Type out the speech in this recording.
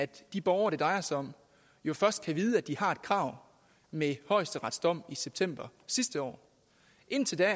de borgere det drejer sig om jo først kan vide at de har et krav med højesterets dom i september sidste år indtil da er